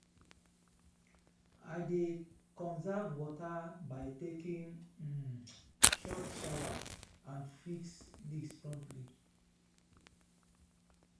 i dey conserve water by taking um shorter showers and fix leaks promptly.